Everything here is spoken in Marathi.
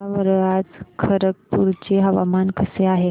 सांगा बरं आज खरगपूर चे हवामान कसे आहे